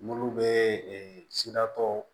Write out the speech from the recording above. Munnu be siratɔ